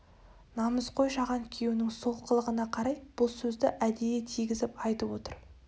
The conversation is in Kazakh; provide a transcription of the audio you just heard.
намысқой жаған күйеуінің сол қылығына қарай бұл сөзді әдейі тигізіп айтып отыр